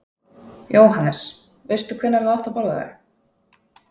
Jóhannes: Veistu hvenær þú átt að borða þau?